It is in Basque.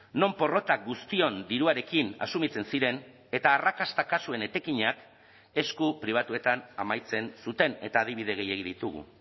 non porrota guztion diruarekin asumitzen ziren eta arrakasta kasuen etekinak esku pribatuetan amaitzen zuten eta adibide gehiegi ditugu